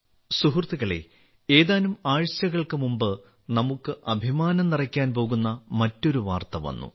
സുഹൃത്തുക്കളെ ഏതാനും ആഴ്ചകൾക്ക് മുമ്പ് നമുക്ക് അഭിമാനം നിറയ്ക്കാൻ പോകുന്ന മറ്റൊരു വാർത്ത വന്നു